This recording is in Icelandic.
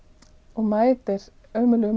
og mætir ömurlegum